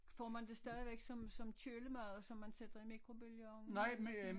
Får man det stadigvæk som som kølemad som man sætter i mikrobølgeovnen eller sådan noget?